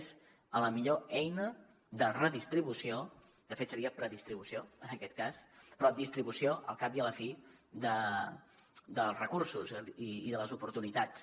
és la millor eina de redistribució de fet seria predistribució però distribució al cap i a la fi dels recursos i de les oportunitats